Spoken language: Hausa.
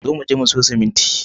Zo muje mu siyo siminti